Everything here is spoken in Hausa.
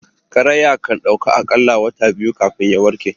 Karaya kandauka akalla wata biyu kafin ya warke